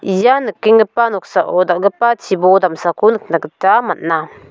ia nikenggipa noksao dal·gipa chibol damsako nikna gita man·a.